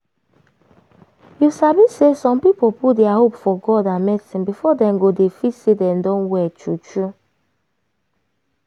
you sabi say some people put dia hope for god and medicine before dem go dey feel say dem don well true true.